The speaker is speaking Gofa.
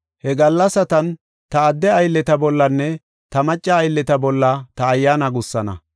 He gallasatan ta adde aylleta bollanne ta macca aylleta bolla ta Ayyaana gussana.